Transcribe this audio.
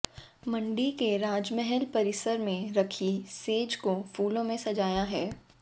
मंडी के राजमहल परिसर में रखी सेज को फूलों से सजाया है